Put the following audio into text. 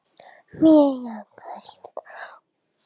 Maður verður að gera eitthvað jákvætt.